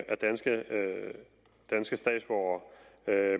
er danske danske statsborgere